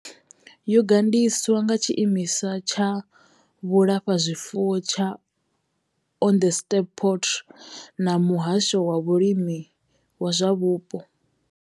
Yo gandiswa nga tshiimiswa tsha vhulafhazwifuwo tsha Onderstepoort na muhasho wa vhulimi na zwa vhupo.